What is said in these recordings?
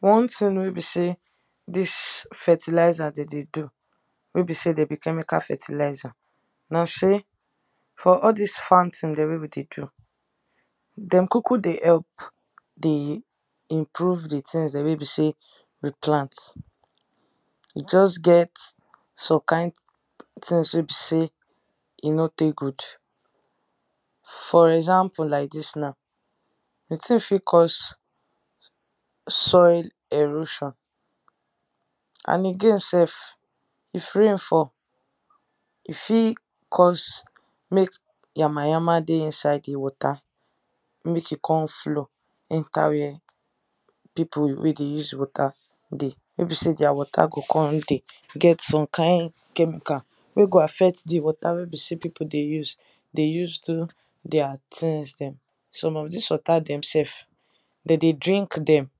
One thing wey be sey dis fertilizer dem dey do wey be sey dem be chemical fertilizer, na sey for all dis farm thing dem wey we dey do, dem kuku dey help dey improve di things dem wey be sey we plant. E just get some kin things wey be sey e no takegood. For example like dis na, di thing fit cause soil erosion and again sef, if rain fall e fit cause make yama yama dey inside di water, make e come flow enter where people wey dey use water dey, wey be sey their water go come dey get some kind chemical wey go affect di water wey be sey people dey use dey use do their things dem, some of dis water dem sef, dem dey drink dem,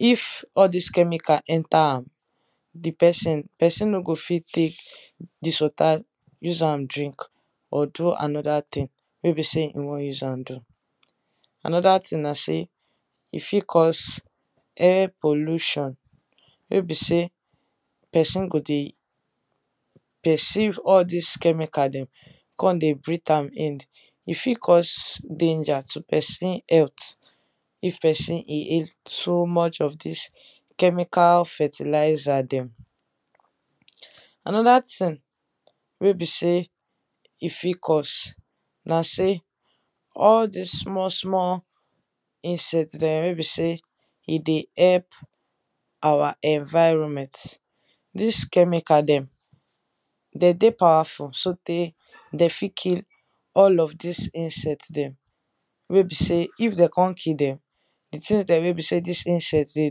if all dis chemical enter am, di person, person no go fit take dis water, use am drink or do another thing wey be sey e wan use am do. Another thing na sey, e fit cause air pollution wey be sey person go dey perceive all dis chemical dem come dey breathe am in, e fit cause danger to person health, if person inhale too much of dis chemical fertilizer dem. Another thing wey be sey e fit cause na sey, all dis small small insect dem, wey be sey e dey help our environment, dis chemical dem, dem dey powerful so tey dem fit kill all of dis insect dem, wey be sey if dem come kill dem di thing wey be sey dis insect dem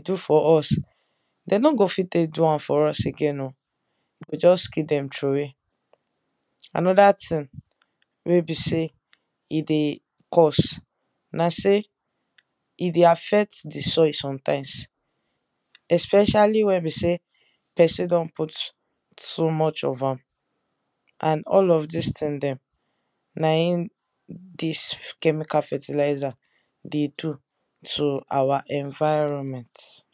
dey do for us, dem no go fit dey do am for us again oh, e go just kill dem trowey. Another thing wey be sey e dey cause na sey e dey affect di soil sometimes especially wey be sey person don put too much of am, and all of dis thing dem na im dis chemical fertilizer dey do to our environment.